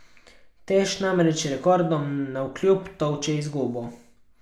Teš namreč rekordom navkljub tolče izgubo.